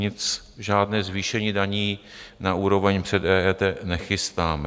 Nic, žádné zvýšení daní na úroveň před EET nechystáme.